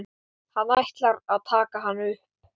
Hann ætlar að taka hana upp.